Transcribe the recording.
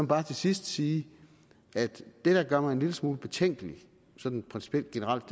bare til sidst sige at det der gør mig en lille smule betænkelig sådan principielt og generelt